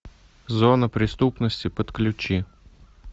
зона преступности подключи